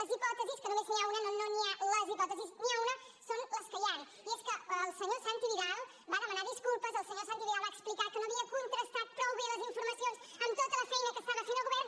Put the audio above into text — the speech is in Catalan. les hipòtesi que només n’hi ha una no hi ha les hipòtesis n’hi ha una són les que hi han i és que el senyor santi vidal va demanar disculpes el senyor santi vidal va explicar que no havia contrastat prou bé les informacions amb tota la feina que estava fent el govern